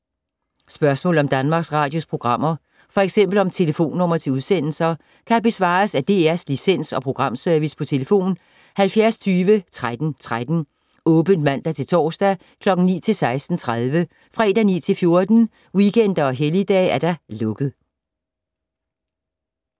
Spørgsmål om Danmarks Radios programmer, f.eks. om telefonnumre til udsendelser, kan besvares af DR Licens- og Programservice: tlf. 70 20 13 13, åbent mandag-torsdag 9.00-16.30, fredag 9.00-14.00, weekender og helligdage: lukket.